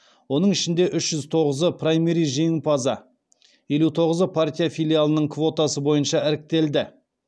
оның ішінде үш жүз тоғызы праймериз жеңімпазы елу тоғызы партия филиалының квотасы бойынша іріктелді